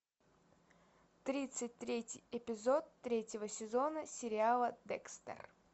тридцать третий эпизод третьего сезона сериала декстер